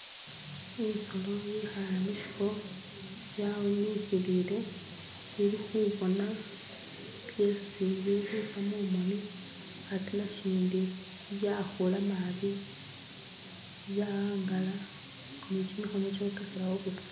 isolo yihale mushifo yawunihilile ili hubona byesi bilihutsa mumoni ate nashindi byahula mabi byahangala nikyimihono kyokesalawo busa